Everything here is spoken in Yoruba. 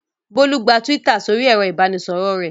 Bólú gba Twitter sórí ẹ̀rọ-ìbánisọ̀rọ̀ rẹ̀.